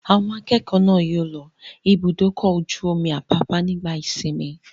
Àwọn akẹ́kọ̀ọ́ náà yóò lọ Ibùdó-ọkọ̀ ojú-omi Àpápá nígbà ìsìnmi.